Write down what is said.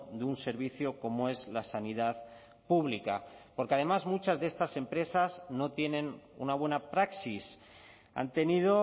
de un servicio como es la sanidad pública porque además muchas de estas empresas no tienen una buena praxis han tenido